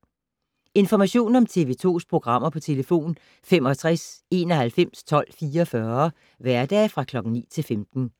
Information om TV 2's programmer: 65 91 12 44, hverdage 9-15.